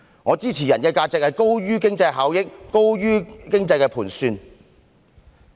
我支持人的價值高於經濟效益和經濟盤算。